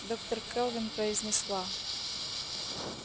доктор кэлвин произнесла